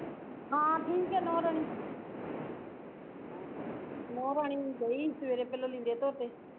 ਹਾਂ ਠੀਕ ਐ ਨੂਹ ਰਾਣੀ ਨੂਹ ਰਾਣੀ ਗਈ ਸਵੇਰੇ ਪਹਿਲਾਂ ਲੀੜੇ ਧੋਤੇ